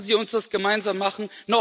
Lassen Sie uns das gemeinsam machen.